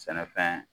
Sɛnɛfɛn